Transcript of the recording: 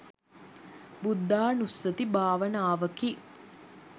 බුද්ධානුස්සති භාවනාවකි.